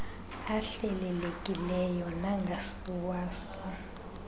ahlelelekileyo nangasiwa so